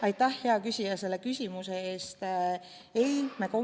Aitäh, hea küsija, selle küsimuse eest!